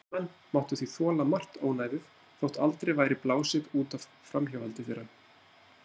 Karlmenn máttu því þola margt ónæðið þótt aldrei væri blásið út af framhjáhaldi þeirra.